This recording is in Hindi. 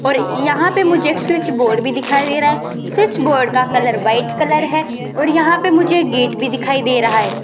और यहां पे मुझे एक स्विच बोर्ड भी दिखाई दे रहा है स्विच बोर्ड का कलर व्हाइट कलर है और यहां पे मुझे एक गेट भी दिखाई दे रहा है।